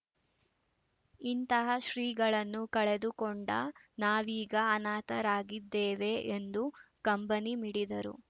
ಇಂತಹ ಶ್ರೀಗಳನ್ನು ಕಳೆದು ಕೊಂಡ ನಾವೀಗ ಅನಾಥರಾಗಿದ್ದೇವೆ ಎಂದು ಕಂಬನಿ ಮಿಡಿದರು